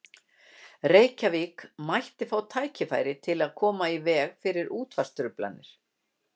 Reykjavík mætti fá tæki til að koma í veg fyrir útvarpstruflanir.